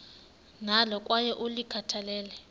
nalo kwaye ulikhathalele